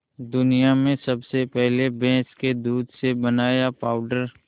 दुनिया में सबसे पहले भैंस के दूध से बनाया पावडर